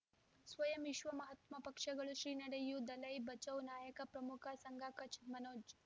ಸ್ವಯಂ ವಿಶ್ವ ಮಹಾತ್ಮ ಪಕ್ಷಗಳು ಶ್ರೀ ನಡೆಯೂ ದಲೈ ಬಚೌ ನಾಯಕ ಪ್ರಮುಖ ಸಂಘ ಕಚ್ ಮನೋಜ್